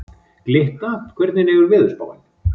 Glytta, hvernig er veðurspáin?